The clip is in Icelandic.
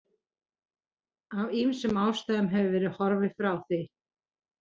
Af ýmsum ástæðum hefur verið horfið frá því.